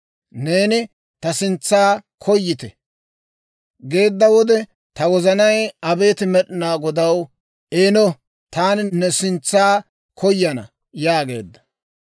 Neeni, «Ta sintsa koyite» geedda wode, Ta wozanay, «Abeet Med'inaa Godaw, eeno; taani ne sintsa koyana» yaageedda.